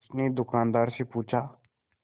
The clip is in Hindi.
उसने दुकानदार से पूछा